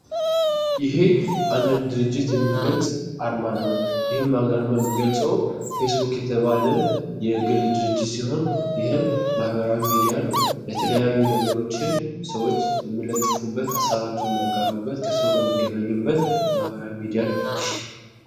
ይሀ አንድን ድርጅት የሚገልጽ አርማ ነው ይሄ የሚገጸው ፌስቡክ የተባለን የግል ድርጅት ሲሆን ይህም ማህበራዊ ሚዲያ ነው። የተለያዩ ነገሮችን ሰዎች የሚለጥፉበት ሃሳባቸውን የሚያጋሩበት ከሰው ጋር የሚገናኙበት ፣ማህበራዊ ሚዲያ ነው።